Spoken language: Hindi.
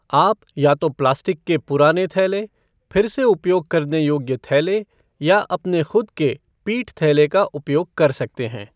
आप या तो प्लास्टिक के पुराने थैले, फिर से उपयोग करने योग्य थैले या अपने ख़ुद के पीठ थैले का उपयोग कर सकते हैं।